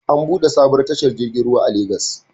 An buɗe sabon tashar jirgin ruwa a Legas